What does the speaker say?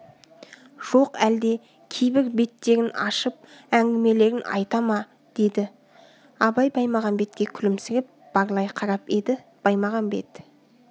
жоқ әлде кейбір беттерін ашып әңгімелерін айта ма деді абай баймағамбетке күлімсіреп барлай қарап еді баймағамбет